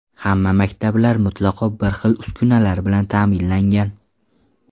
Hamma maktablar mutlaqo bir xil uskunalar bilan ta’minlangan.